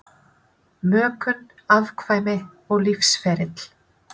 Mökun, afkvæmi og lífsferill